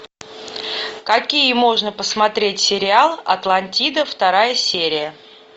какие можно посмотреть сериал атлантида вторая серия